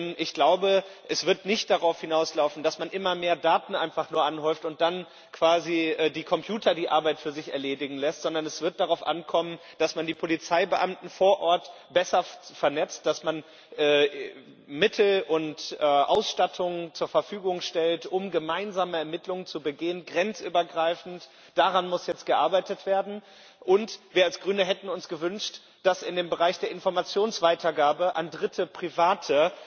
Denn ich glaube, es wird nicht darauf hinauslaufen, dass man immer mehr Daten einfach nur anhäuft und dann quasi die Computer die Arbeit für sich erledigen lässt, sondern es wird darauf ankommen, dass man die Polizeibeamten vor Ort besser vernetzt, dass man Mittel und Ausstattung zur Verfügung stellt, um gemeinsame Ermittlungen durchzuführen grenzübergreifend. Daran muss jetzt gearbeitet werden. Und wir als Grüne hätten uns gewünscht, dass in dem Bereich der Informationsweitergabe an dritte Private